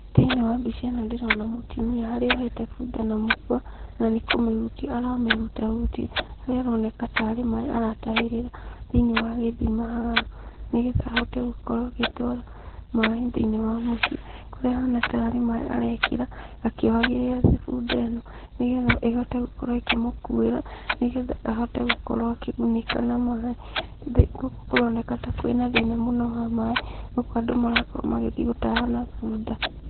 Thĩiniĩ wa mbica ĩno ndĩrona mũtumia harĩa ohete bunda na mũkũa, na nĩ kũmĩhutia aramĩhutahutia, harĩa aroneka tarĩ maĩ aratahĩrĩra thĩiniĩ wa gĩthima haha, nĩgetha ahote gũkorwo agĩtwara maĩ thĩiniĩ wa mũciĩ, kũrĩa ahana tarĩ maĩ arekĩra akĩohagĩrĩra bunda ĩno, nĩgetha ĩhote gũkorwo ĩkĩmũkuĩra, nĩgetha ahote gũkorwo akĩgunĩka na maĩ, gũkũ kũroneka ta kwĩ na thĩna mũno wa maĩ, gũkũ andũ marakorwo magĩthiĩ gũtaha na bunda.